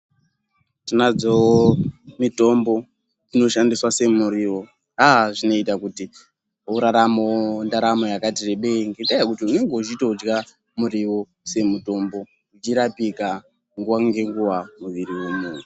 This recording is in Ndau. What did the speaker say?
Tinadzowo mitombo dzinoshandiswa semuriwo aaa zvinoita kuti uraramewo ndaramo yakati rebei ngenda yekuti unenge wechitodya muriwo semutombo uchirapika nguwa ngenguwa muviri wemunhu.